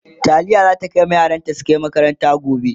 taliya zata dafa ma yaranta su Kai makaranta gobe